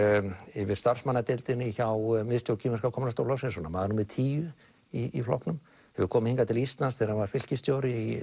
yfir hjá miðstjórn kínverska kommúnistaflokksins svona maður númer tíu í flokknum hefur komið hingað til Íslands þegar hann var fylkisstjóri í